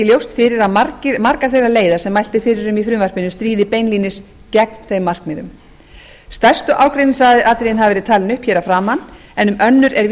ljóst fyrir að margar þeirra leiða sem mælt er fyrir um í frumvarpinu stríða beinlínis gegn þeim markmiðum stærstu ágreiningsatriðin hafa verið talin upp hér að framan en um önnur er